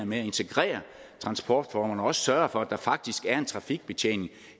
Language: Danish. med at integrere transportformerne og også sørge for at der faktisk er en trafikbetjening